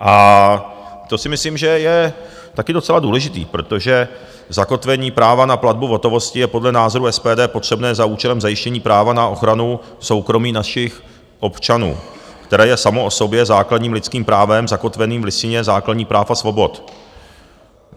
A to si myslím, že je taky docela důležitý, protože zakotvení práva na platbu v hotovosti je podle názoru SPD potřebné za účelem zajištění práva na ochranu soukromí našich občanů, které je samo o sobě základním lidským právem zakotveným v Listině základních práv a svobod.